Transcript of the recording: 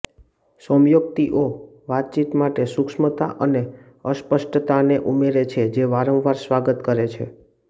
સૌમ્યોક્તિઓ વાતચીત માટે સૂક્ષ્મતા અને અસ્પષ્ટતાને ઉમેરે છે જે વારંવાર સ્વાગત કરે છે